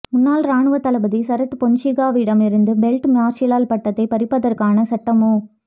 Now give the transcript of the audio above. முன்னாள் இராணுவத் தளபதி சரத் பொன்சேகாவிடம் இருந்து பீல்ட் மார்ஷல் பட்டத்தைப் பறிப்பதற்கான சட்ட நடைமு